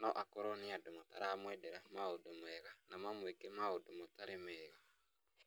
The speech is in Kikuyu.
no akorwo nĩ andũ mataramwendera maũndũ mega na mamũĩke maũndu matarĩ mega.